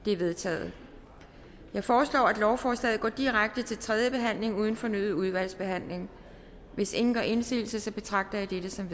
de er vedtaget jeg foreslår at lovforslaget går direkte til tredje behandling uden fornyet udvalgsbehandling hvis ingen gør indsigelse betragter jeg dette som